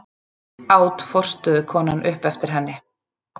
át forstöðukonan upp eftir henni.